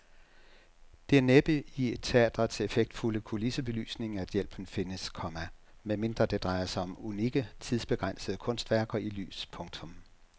Det er næppe i teatrets effektfulde kulissebelysning at hjælpen findes, komma medmindre det drejer sig om unikke tidsbegrænsede kunstværker i lys. punktum